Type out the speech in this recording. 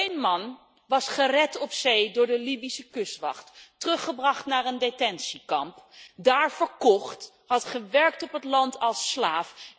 Eén man was gered op zee door de Libische kustwacht, teruggebracht naar een detentiekamp, daar verkocht en had gewerkt op het land als slaaf.